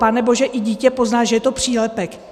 Panebože, i dítě pozná, že je to přílepek.